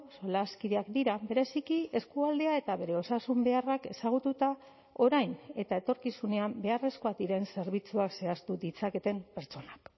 solaskideak dira bereziki eskualdea eta bere osasun beharrak ezagututa orain eta etorkizunean beharrezkoak diren zerbitzuak zehaztu ditzaketen pertsonak